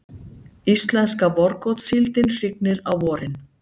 Íslenska vorgotssíldin hrygnir á vorin.